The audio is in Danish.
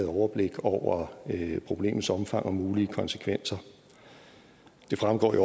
overblik over problemets omfang og mulige konsekvenser det fremgår jo